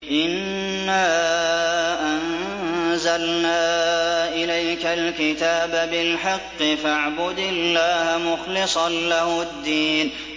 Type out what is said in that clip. إِنَّا أَنزَلْنَا إِلَيْكَ الْكِتَابَ بِالْحَقِّ فَاعْبُدِ اللَّهَ مُخْلِصًا لَّهُ الدِّينَ